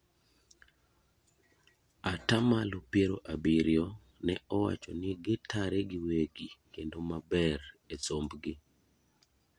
atamalo piero abirio ne owacho ni gitare giwegi kendo maber e sombgi